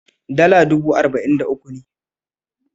Dala dubu arba'in da uku ne.